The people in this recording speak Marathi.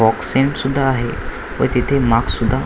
बॉक्सिंन सुद्धा आहे व तिथे माक सुद्धा --